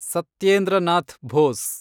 Satyendra Nath Bose